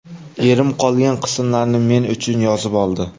Erim qolgan qismlarni men uchun yozib oldi.